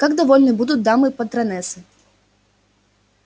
как довольны будут дамы-патронессы